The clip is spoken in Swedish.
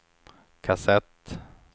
kassett